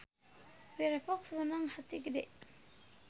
Firefox meunang bati gede